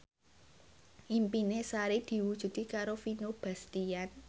impine Sari diwujudke karo Vino Bastian